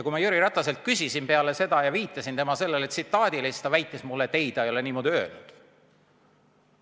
" Kui ma Jüri Rataselt küsisin ja viitasin tema sellele tsitaadile, siis ta väitis mulle, et ei, ta ei ole niimoodi öelnud.